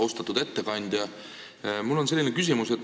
Austatud ettekandja!